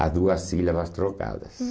Há duas sílabas trocadas. Hum